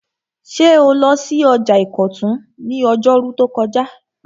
Ṣé o lọ sí ọjà ìkọ̀tún ní ọjọ́rú tó kọjá?